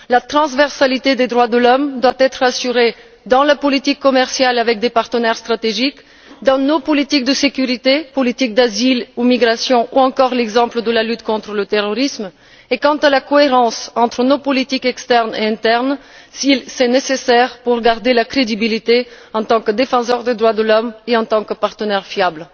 La transversalité des droits de l'homme doit être assurée dans la politique commerciale avec des partenaires stratégiques, dans nos politiques de sécurité, politiques d'asile ou migration ou encore l'exemple de la lutte contre le terrorisme, et quant à la cohérence entre nos politiques externes et internes, si c'est nécessaire, pour garder notre crédibilité en tant que défenseur des droits de l'homme et en tant que partenaire fiable.